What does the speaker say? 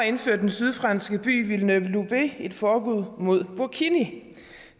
indførte den sydfranske by villeneuve loubet et forbud mod burkini